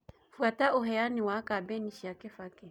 fuata uheani wa kambiini cĩa kibaki